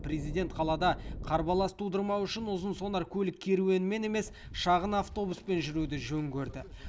президент қалада қарбалас тудырмау үшін ұзын сонар көлк керуенмен емес шағын автобуспен жүруді жөн көрді